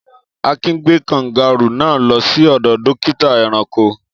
Akin gbé kangárù náà lọ sí ọ̀dọ̀ dókítà ẹranko.